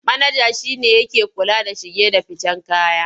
Manaja shi ne yake kula da shige da ficen kaya.